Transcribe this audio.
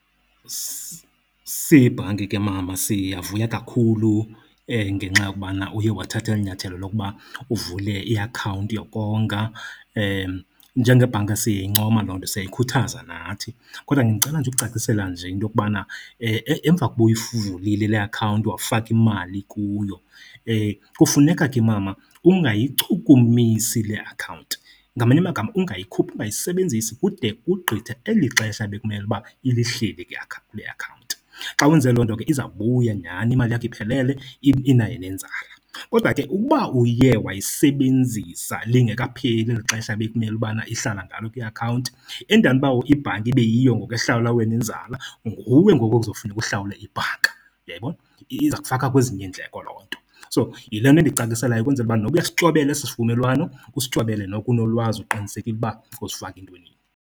Siyibhanki ke mama siyavuya kakhulu ngenxa yokubana uye wathatha eli nyathelo lokuba uvule iakhawunti yokonga. Njengebhanka siyayincoma loo nto, siyayikhuthaza nathi. Kodwa ke ndicela nje ukucacisela nje into yokubana emva kokuba uyivulile le akhawunti wafaka imali kuyo kufuneka ke mama ungayichukumisi le akhawunti. Ngamanye amagama ungayikhuphi, ungayisebenzisi kude kugqithe eli xesha bekumele uba ilihleli ke le akhawunti. Xa wenze loo nto ke izawubuya nyani imali yakho iphelele inayo nenzala. Kodwa ke ukuba uye wayisebenzisa lingekapheli eli xesha bekumele ubana ihlala ngalo kwiakhawunti, endaweni yoba ibhanki ibe yiyo ngoku ehlawula wena inzala, nguwe ngoku okuzofuneka uhlawule ibhanka. Uyayibona? Iza kufaka kwezinye iindleko loo nto. So, yile nto ndikucaciselayo ukwenzela uba noba uyasityobela esi sivumelwano usityobele noko unolwazi, uqinisekile uba uzifaka entwenini.